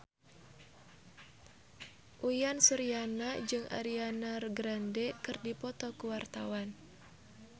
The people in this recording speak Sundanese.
Uyan Suryana jeung Ariana Grande keur dipoto ku wartawan